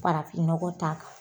Farafinɔgɔ t'a kan